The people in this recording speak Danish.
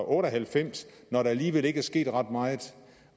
otte og halvfems når der alligevel ikke er sket ret meget